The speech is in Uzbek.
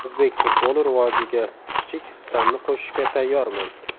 O‘zbek futboli rivojiga kichik hissamni qo‘shishga tayyorman.